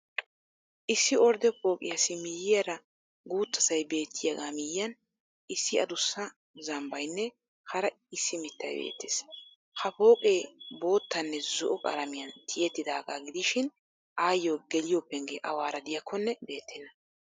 Issi ordde pooqiyassi miyyiyara guuttasay beettiyagaa miyyiyan issi adussa zambbaynne hara issi mittay beettees. Hapooqee boottanne zo'o qalamiyan tiyettidaagaa gidishin ayyoo geliyo penggee awaara de'iyakkonne beettenna.